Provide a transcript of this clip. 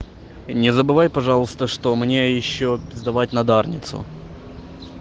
не забывай пожалуйста что мне ещё пиздавать на дарницу